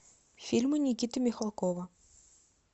фильмы никиты михалкова